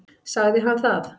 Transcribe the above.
Sagði hann það?